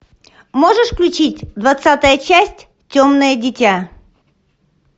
можешь включить двадцатая часть темное дитя